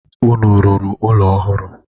Unu rụrụ ụlọ ọhụrụ?